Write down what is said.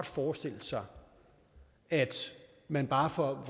forestille sig at man bare får